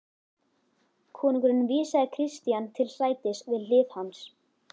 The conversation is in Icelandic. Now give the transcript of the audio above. Konungur vísaði Christian til sætis við hlið hans.